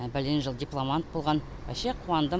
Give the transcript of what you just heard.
бәлен жыл дипломант болған ваще қуандым